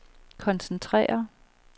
koncentrere